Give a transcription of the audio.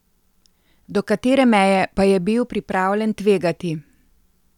Do katere meje pa je bil pripravljen tvegati?